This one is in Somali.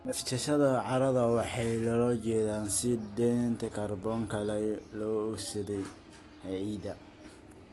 Neefsashada carrada waxaa loola jeedaa sii daynta kaarboon laba ogsaydh ee ciidda.